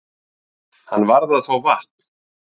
Hann varð að fá vatn.